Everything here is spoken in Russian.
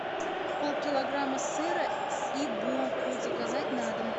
полкилограмма сыра и булку заказать на дом